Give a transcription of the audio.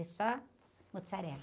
E só mussarela.